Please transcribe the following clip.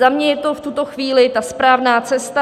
Za mě je to v tuto chvíli ta správná cesta.